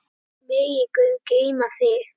Megi Guð geyma þig.